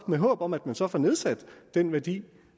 med håbet om at man så får nedsat den værdi